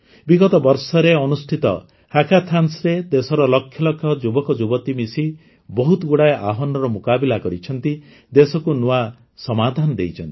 ବିଗତ ବର୍ଷରେ ଅନୁଷ୍ଠିତ ହ୍ୟାକାଥାନ୍ସ୍ରେ ଦେଶର ଲକ୍ଷଲକ୍ଷ ଯୁବକଯୁବତୀ ମିଶି ବହୁତଗୁଡ଼ାଏ ଆହ୍ୱାନର ମୁକାବିଲା କରିଛନ୍ତି ଦେଶକୁ ନୂଆ ସମାଧାନ ଦେଇଛନ୍ତି